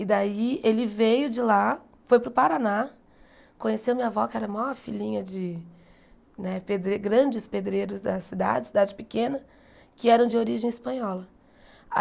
E daí ele veio de lá, foi para o Paraná, conheceu minha avó, que era a maior filhinha de né pedre grandes pedreiros da cidade, cidade pequena, que eram de origem espanhola.